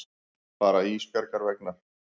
Bara Ísbjargar vegna.